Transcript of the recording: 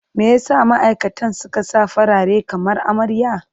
Me ya sa ma'aikatan suka sa farare kamar amarya?